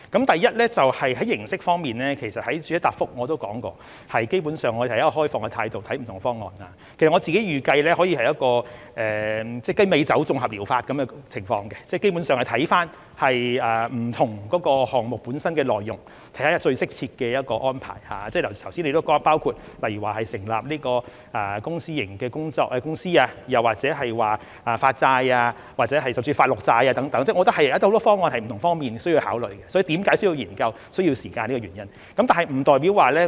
第一，在形式方面，其實我在主體答覆也提到，基本上，我們是以開放態度來看不同方案，我自己預計可以是一個雞尾酒綜合療法的情況，基本上是會看不同項目本身的內容，看看最適切的安排，正如剛才提到例如成立公私營公司，又或發債甚至發綠債等，我認為很多方案是在不同方面需要考慮的，所以為何需要研究和需要時間，便是這個原因。